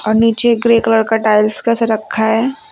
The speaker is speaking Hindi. और नीचे ग्रे कलर का टाइल्स कैसे रखा है।